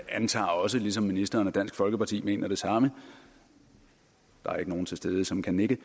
antager også ligesom ministeren at dansk folkeparti mener det samme der er ikke nogen til stede som kan nikke